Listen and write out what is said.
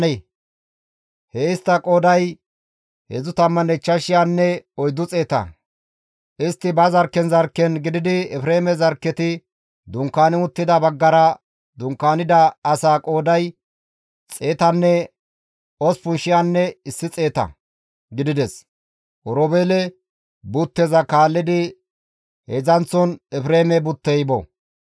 Istti ba zarkken zarkken gididi Efreeme zarkketi dunkaani uttida baggara dunkaanida asaa qooday 108,100 gidides; Oroobeele butteza kaallidi heedzdzanththon Efreeme buttey bo.